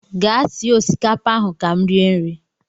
Gaa sie osikapa ahụ ka m rie nri!